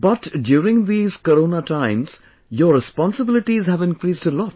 But during these Corona times, your responsibilities have increased a lot